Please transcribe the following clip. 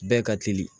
Bɛɛ ka teli